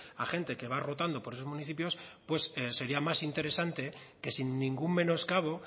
a gente que va rotando por esos municipios pues sería más interesante que sin ningún menoscabo